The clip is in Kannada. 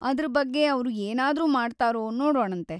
ಅದ್ರ್ ಬಗ್ಗೆ ಅವ್ರು ಏನಾದ್ರೂ ಮಾಡ್ತಾರೋ ನೋಡಣಂತೆ.